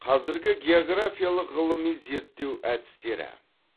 қазіргі географиялық ғылыми зерттеу әдістері